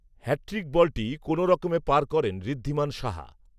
hat trick বলটি কোনো রকমে পার করেন ঋদ্ধিমান সাহা